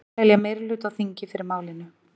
Telja meirihluta á þingi fyrir málinu